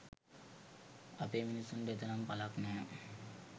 අපේ මිනිසුන්ට එතරම් පලක් නැහැ.